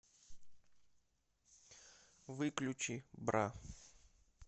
выключи бра